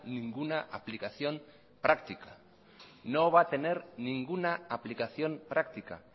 ninguna aplicación práctica